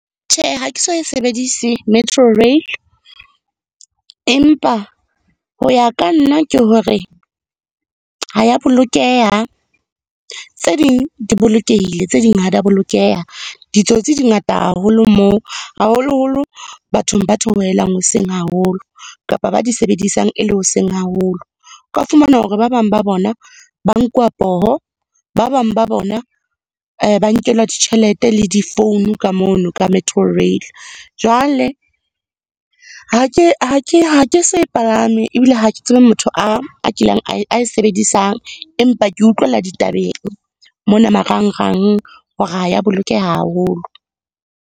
Tjhe, ha ke so e sebedise Metrorail. Empa ho ya ka nna ke hore ha ya bolokeha, tse ding di bolokehile, tse ding ha di a bolokeha. Ditsotsi di ngata haholo moo, haholoholo bathong ba theohelang hoseng haholo, kapa ba di sebedisang e le hoseng haholo. O ka fumana hore ba bang ba bona ba nkuwa poho, ba bang ba bona ba nkelwa ditjhelete le di-phone ka mono ka Metrorail. Jwale, ha ke so e palame ebile ha ke tsebe motho a kileng, a e sebedisang, empa ke utlwela ditabeng mona marangrang hore ha ya bolokeha haholo.